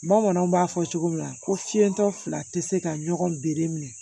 Bamananw b'a fɔ cogo min na ko fiɲɛtɔ fila te se ka ɲɔgɔn bere minɛ